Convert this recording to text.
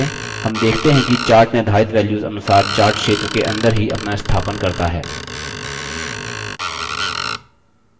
हम देखते हैं कि chart निर्धारित values अनुसार chart क्षेत्र के अंदर ही अपना स्थापन करता है